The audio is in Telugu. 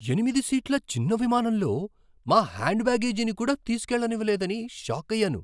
ఎనిమిది సీట్ల చిన్న విమానంలో మా హ్యాండ్ బ్యాగేజీని కూడా తీసుకెళ్లనివ్వలేదని షాకయ్యాను!